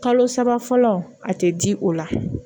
Kalo saba fɔlɔ a tɛ di o la